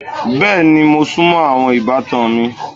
Bẹ́ẹ̀ni, mo sùnmọ́ àwọn ìbátan mi.